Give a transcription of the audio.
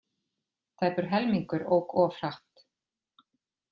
Tæpur helmingur ók of hratt